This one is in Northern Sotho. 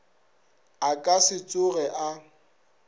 a ka se tsoge a